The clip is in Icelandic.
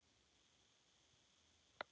Hann pabbi er dáinn.